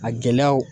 A gɛlɛyaw